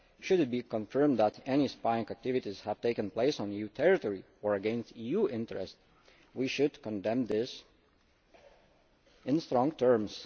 Should it be confirmed that any spying activities have taken place on EU territory or against EU interests, we should condemn them in strong terms.